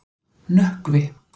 Nökkvi